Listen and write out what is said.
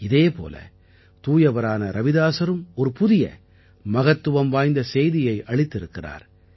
இதே போல தூயவரான ரவிதாஸரும் ஒரு புதிய மகத்துவம் வாய்ந்த செய்தியை அளித்திருக்கிறார்